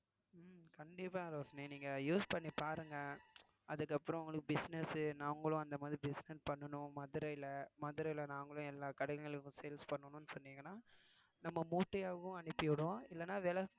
கண்டிப்பா ரோஷிணி நீங்க use பண்ணி பாருங்க அதுக்கப்புறம் உங்களுக்கு business நாங்களும் அந்த மாதிரி business பண்ணணும் மதுரையில மதுரையில நாங்களும் எல்லா கடைங்களுக்கும் sales பண்ணணும்ன்னு சொன்னீங்கன்னா நம்ம மூட்டையாவும் அனுப்பி விடுவோம் இல்லன்னா விலை